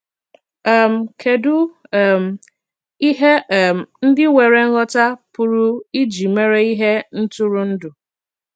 um Kedụ um ihe um ndị nwere nghọta pụrụ iji mere ihe ntụrụndụ?